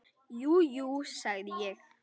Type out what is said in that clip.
Jú, jú, sagði ég.